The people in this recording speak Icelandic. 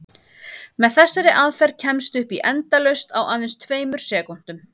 Með þessari aðferð kemstu upp í endalaust á aðeins tveimur sekúndum!